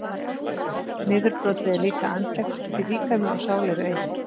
Niðurbrotið er líka andlegt því líkami og sál eru eitt.